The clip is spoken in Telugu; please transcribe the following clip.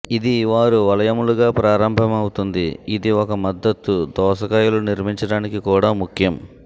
ఇది వారు వలయములుగా ప్రారంభమవుతుంది ఇది ఒక మద్దతు దోసకాయలు నిర్మించడానికి కూడా ముఖ్యం